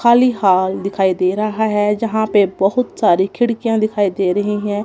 खाली हॉल दिखाई दे रहा है जहां पर बहुत सारी खिड़कियां दिखाई दे रही हैं।